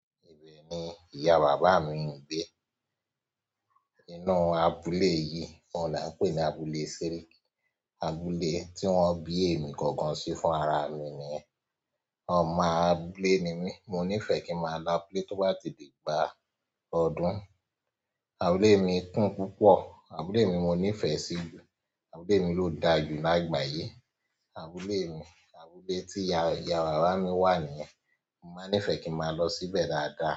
Ibẹ̀ ni ìyá bàbá mi ń gbé. Inú abúlé yìí, òun là ń pè ní abúlé séríkí. Abúlé tí wọ́n bí èmi gangan sí fúnra ra mi nìyẹn. Ọmọ abúlé ni mí, mo nífẹ̀ẹ́ kí n máa lọ abúlé tó bá ti diìgbà ọdún. Abúlé mi kún púpọ̀, abúlé mi mo nífẹ̀ẹ́ sí i jù, abúlé mi ló da jù lágbàáyé, abúlé mi, abúlé tí ìyá bàbá mi wà nìyẹn. Mo máa ń nífẹ̀ẹ́ kí n máa lọ síbẹ̀ dáadáa.